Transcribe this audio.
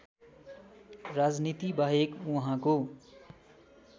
राजनीतिबाहेक उहाँको